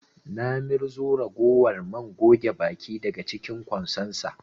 Na mirzo ragowar man goge baki daga cinkin ƙwansonsa